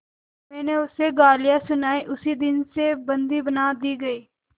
मैंने उसे गालियाँ सुनाई उसी दिन से बंदी बना दी गई